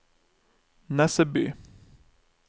Nesseby